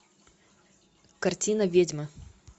картина ведьма